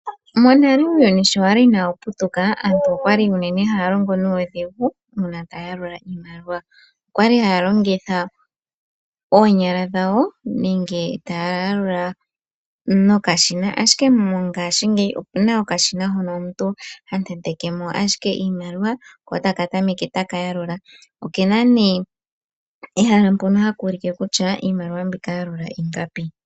Monale uuyuni sho wa li inaawu putuka, aantu okwa li haya longo nuudhigu moku yalula iimaliwa, okwa li haya longitha oonyala dhawo nenge taya yalula nokashina. Ashike mongaashingeyi paife opu na